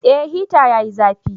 Eh hita yayi zafi